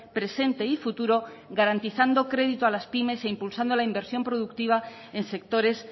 presente y futuro garantizando crédito a las pymes e impulsando la inversión productiva en sectores